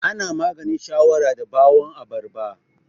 Ana maganin shawara da ɓawan abarba